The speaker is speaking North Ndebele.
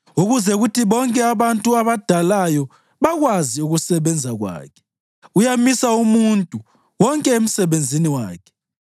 Ukuze kuthi bonke abantu abadalayo bakwazi ukusebenza kwakhe, uyamisa umuntu wonke emsebenzini wakhe.